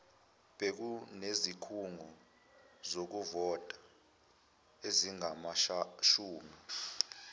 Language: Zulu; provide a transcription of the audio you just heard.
bekunezikhungo zokuvota ezingamashumi